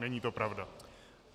Není to pravda.